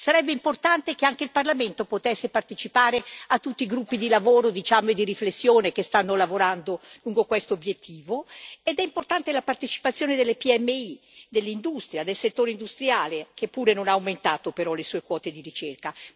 Sarebbe importante che anche il Parlamento potesse partecipare a tutti i gruppi di lavoro e di riflessione, che stanno lavorando lungo questo obiettivo, ed è importante la partecipazione delle PMI, dell'industria, del settore industriale, che pure non ha aumentato però le sue quote di ricerca.